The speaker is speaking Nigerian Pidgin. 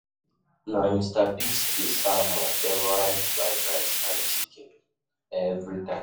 Na Mr. Biggs dey serve my favorite fried rice and chicken every time.